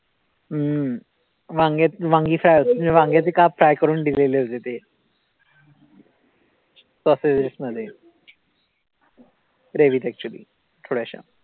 हम्म वांग्यात वांगी fry होते म्हणजे वांग्याचे काप. Fry करून दिलेले होते ते मध्ये. Gravy त actually थोड्याश्या